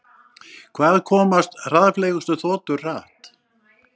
Hvað komast hraðfleygustu þotur hratt?